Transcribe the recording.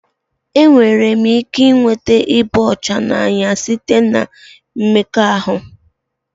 Enwere m ike ịnweta ịba ọcha n'anya site na mmekọahụ?